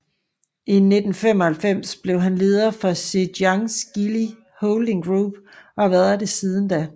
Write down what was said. I 1995 blev han leder for Zhejiang Geely Holding Group og har været det siden da